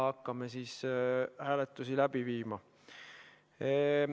Hakkame siis hääletusi läbi viima.